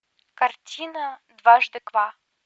картина дважды два